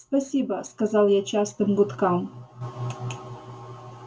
спасибо сказал я частым гудкам